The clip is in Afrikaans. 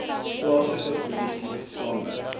plaaslike polisie saamwerk